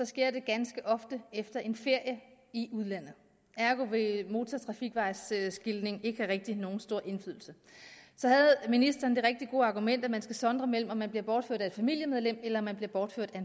sker det ganske ofte efter en ferie i udlandet ergo vil motortrafikvejsskiltning ikke rigtig have nogen stor indflydelse så havde ministeren det rigtig gode argument at man skal sondre imellem om man bliver bortført af et familiemedlem eller man bliver bortført af